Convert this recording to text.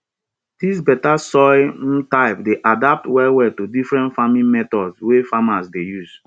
dis better soil um type dey adapt well well to different farming methods wey farmers dey use